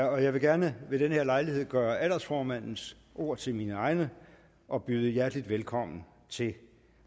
jeg vil gerne ved denne lejlighed gøre aldersformandens ord til mine egne og byde hjertelig velkommen til